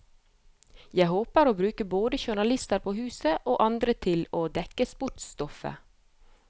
Jeg håper å bruke både journalister på huset, og andre til å dekke sportsstoffet.